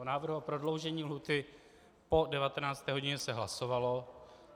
O návrhu o prodloužení lhůty po 19. hodině se hlasovalo.